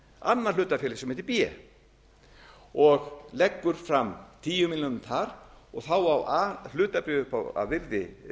annað hlutafélag sem heitir b og leggur fram tíu milljónir þar þá á a hlutabréf að virði